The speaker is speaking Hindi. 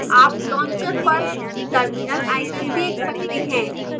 आप launcher पर terminal icon देख सकते हैं